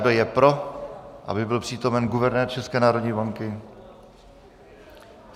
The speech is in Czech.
Kdo je pro, aby byl přítomen guvernér České národní banky.